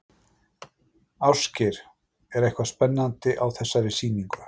Ásgeir, er eitthvað spennandi á þessari sýningu?